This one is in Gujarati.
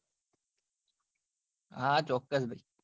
હા ચોક્કસ